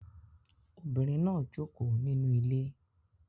Obinrin naa joko ninu ile